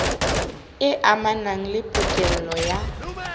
e amanang le pokello ya